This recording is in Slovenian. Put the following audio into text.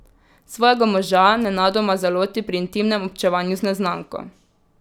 Svojega moža nenadoma zaloti pri intimnem občevanju z neznanko.